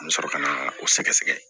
An bɛ sɔrɔ ka na o sɛgɛsɛgɛ